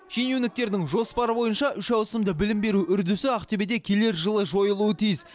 шенеуніктердің жоспары бойынша үш ауысымда білім беру үрдісі ақтөбеде келер жылы жойылуы тиіс